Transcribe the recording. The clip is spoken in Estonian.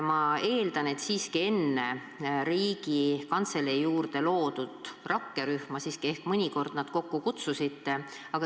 Ma eeldan, et te enne Riigikantselei juurde loodud rakkerühma siiski nad mõnikord kokku kutsusite.